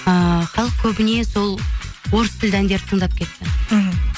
ыыы халық көбіне сол орыс тілді әндерді тыңдап кетті мхм